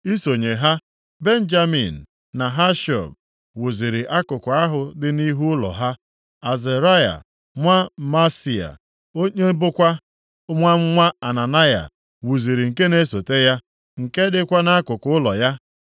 Isonye ha, Benjamin na Hashub wuziri akụkụ ahụ dị nʼihu ụlọ ha. Azaraya nwa Maaseia, onye bụkwa nwa nwa Ananaya wuziri nke na-esote ya, nke dịkwa nʼakụkụ ụlọ ya.